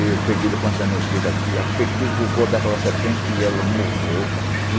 Eu a peguei com essa mão esquerda aqui, apertei o gogó daquela serpente e ela morreu.